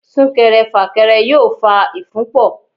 Súnkẹrẹ fàkẹrẹ yóò fa ìfúnpọ̀.